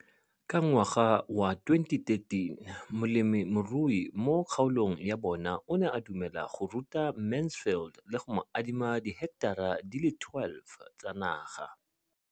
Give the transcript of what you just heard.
Ka ngwaga wa 2013, molemirui mo kgaolong ya bona o ne a dumela go ruta Mansfield le go mo adima di heketara di le 12 tsa naga.